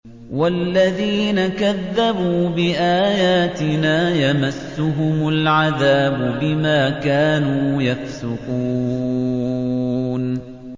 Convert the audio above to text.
وَالَّذِينَ كَذَّبُوا بِآيَاتِنَا يَمَسُّهُمُ الْعَذَابُ بِمَا كَانُوا يَفْسُقُونَ